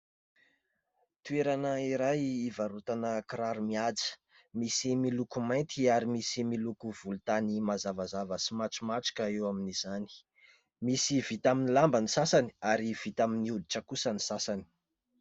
Toerana iray ivarotana kiraro mihaja, misy miloko mainty ary misy miloko volontany mazavazava sy matromatroka eo amin'izany. Misy vita amin'ny lamba ny sasany ary vita amin'ny hoditra kosa ny sasany.